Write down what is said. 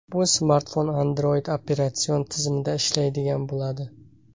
Bu smartfon Android operatsion tizimida ishlaydigan bo‘ladi.